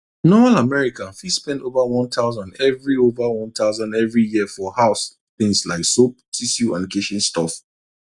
normal american fit spend over one thousand every over one thousand every year for house things like soap tissue and kitchen stuff